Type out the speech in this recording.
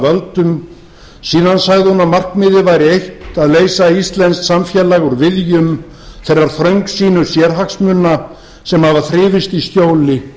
völdum síðan sagði hún að markmiðið væri eitt að leysa íslenskt samfélag úr viðjum þeirra þröngsýnu sérhagsmuna sem hafa þrifist í skjóli